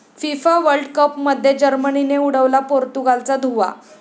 FIFA world कपमध्ये जर्मनीने उडवला पोर्तुगालचा धुव्वा